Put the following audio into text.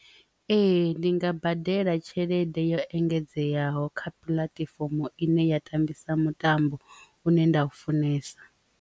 Ee, ndi nga badela tshelede yo engedzeaho kha puḽatifomo ine ya tambisa mutambo une nda u funesa.